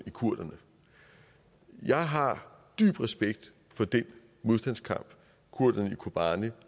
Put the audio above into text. i kurderne jeg har dyb respekt for den modstandskamp kurderne i kobani